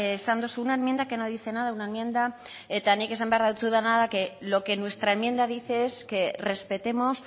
esan duzuna enmienda que no dice nada una enmienda eta nik esan behar dautsudana que lo que nuestra enmienda dice es que respetemos